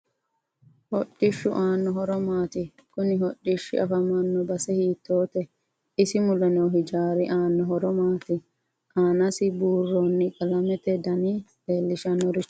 Hodhishu aano horo maati kuni hodhishi afamanno base hiitoote isi mule noo hijaari aanno horo maati aanasi buurooni qalamete dani leelishannorochi maati